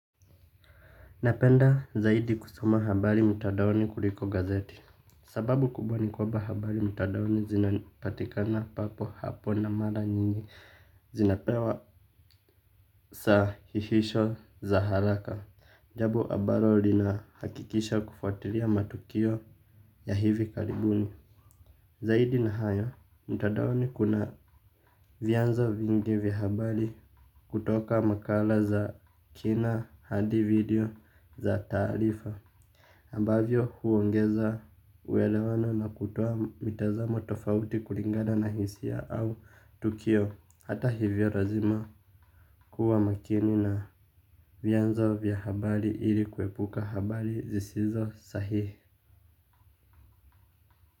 Napenda zaidi kusoma habari mtandaoni kuliko gazeti. Sababu kubwa ni kwamba habari mtandaoni zinapatikana papo hapo na mara nyingi zinapewa sahihisho za haraka. Jambo ambalo linahakikisha kufuatilia matukio ya hivi karibuni. Zaidi na hayo mtandaoni kuna vyanzo vingi vya habari kutoka makala za kina hadi video za taarifa ambavyo huongeza uelewano na kutoa mitazamo tofauti kulingana na hisia au tukio hata hivyo lazima kuwa makini na vianzo vya habari ili kuepuka habari zisizo sahihi.